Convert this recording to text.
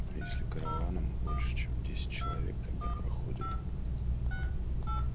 а если караваном больше чем десять человек тогда проходят